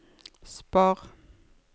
spar